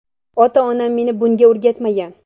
Ota-onam meni bunga o‘rgatmagan.